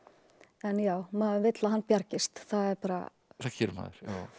en já maður vill að hann bjargist það gerir maður